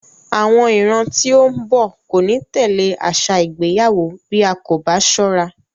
Àwọn ìran tí ó ń bọ̀ kò ní tẹ̀lé àṣà ìgbéyàwó bí a kò bá sọ́ra.